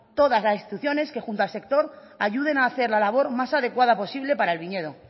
todas las instituciones que junto al sector ayuden a hacer la labor más adecuada posible para el viñedo